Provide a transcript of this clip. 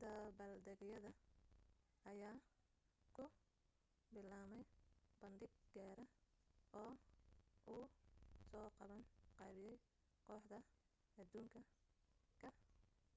dabbaaldegyada ayaa ku bilaabmay bandhig gaara oo uu soo qaban qaabiyay kooxda adduunka ka